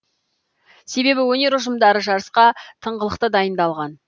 себебі өнер ұжымдары жарысқа тыңғылықты дайындалған